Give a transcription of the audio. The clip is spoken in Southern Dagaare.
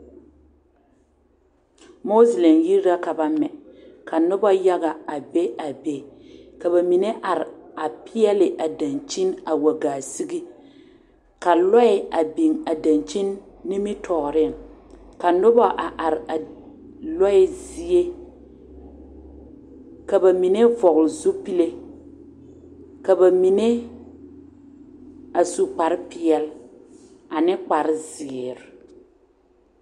Mosilɛm yiri la ka ba mɛ ka noba yaga a be a be ka ba mine are a peɛle a daŋkyine a wa gaa sige ka lɔɛ a biŋ a daŋkyine nimitɔɔriŋ ka noba a are a lɔɛ zie ka ba mine vɔgle zupile ka ba mine a su kpare peɛl ane kpare ziire.